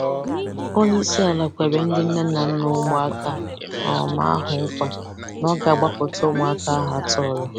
Onyeisiala kwere ndị nne na nna ụmụaka um ahụ nkwà na ọ ga-agbapụta ụmụaka ahụ a tọọrọ.